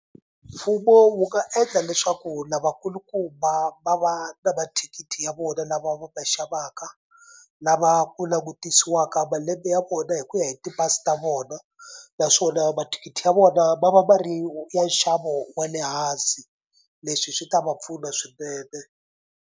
Mfumo wu nga endla leswaku lavakulukumba va va na mathikithi ya vona lava va ma xavaka lava ku langutisiwa eka malembe ya vona hi ku ya hi ti pasi ta vona naswona mathikithi ya vona ma va ma ri ya nxavo wa le hansi leswi swi ta va pfuna swinene.